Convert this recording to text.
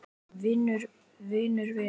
Vinur vinar?